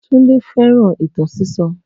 Tunde fẹ́ràn ìtàn sísọ